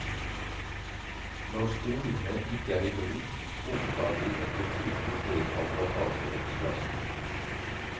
Når stolene ikke er i bruk, opptar de en betydelig del av bagasjeromsplassen.